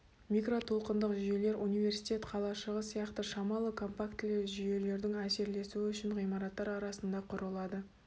микротолқындық жүйелер университет қалашығы сияқты шамалы компактілі жүйелердің әсерлесуі үшін ғимараттар арасында құрылады